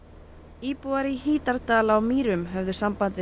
íbúar í Hítardal á Mýrum höfðu samband við